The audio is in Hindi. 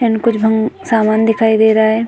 समान दिखाई दे रहा है।